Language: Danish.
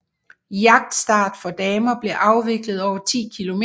Jagtstart for damer blev afviklet over 10 km